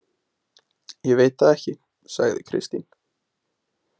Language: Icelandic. Ég veit það ekki, sagði Kristín.